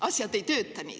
Asjad ei toimi nii.